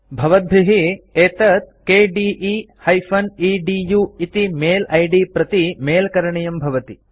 भवद्भिः एतत् kde एदु इति मेल आईडी प्रति मेल करणीयं भवति